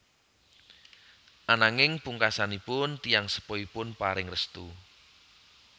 Ananging pungkasanipun tiyang sepuhipun paring restu